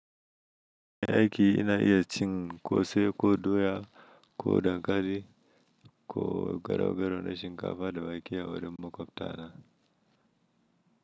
Aiki ina iya cin kose ko doya ko dankali ko garaugaro na shinkafa da wake a wurin makwabtana.